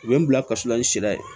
U ye n bila ka susulan ni sira ye